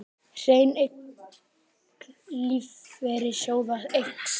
Hrein eign lífeyrissjóða eykst